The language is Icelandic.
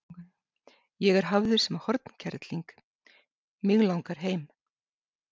Ég er hafður sem hornkerling, mig langar heim.